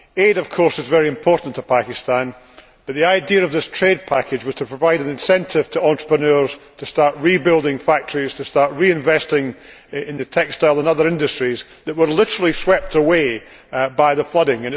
Aid, of course, is very important to Pakistan, but the idea of this trade package was to provide an incentive to entrepreneurs to start rebuilding factories and reinvesting in the textile and other industries that were literally swept away by the flooding.